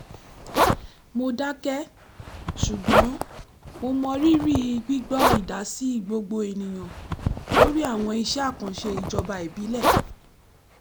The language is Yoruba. mo dákẹ́ ṣùgbọ́n mo mọ rírí gbígbọ́ ìdásí gbogbo ènìyàn lórí àwọn iṣẹ́ àkànṣe ijoba ìbílẹ̀